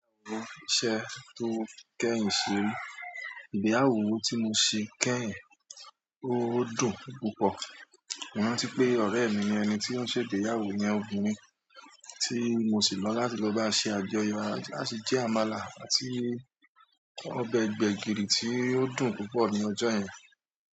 Ìgbéyàwó iṣẹ́ tó kẹ́yìn ṣe, ìgbéyàwó tí mo ṣe kẹ́yìn, ó dùn púpọ̀, mo rántí pé ọ̀rẹ́ mi ni ẹni tí ó ṣe ìgbéyàwó iyẹn ọmọbìnrin tí mo sì lọ láti lọ bá ṣe àjọyọ̀, a sì jẹ àmàlà àti ọbẹ̀ gbẹ̀gìrì tí ó dùn púpọ̀ ní ọjọ́ yẹn.